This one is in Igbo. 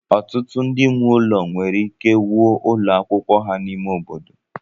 Ọtụtụ ndị nwe ụlọ nwere ike wuo ụlọ akwụkwọ ha n'ime obodo